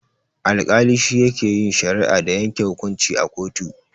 Alkali shine yake yin shari'a da yanke hukunci a kotu.